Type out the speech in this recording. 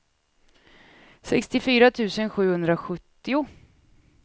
sextiofyra tusen sjuhundrasjuttio